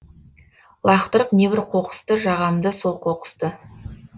лақтырып небір қоқысты жағамды сол қоқысты